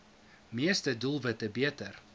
meeste doelwitte beter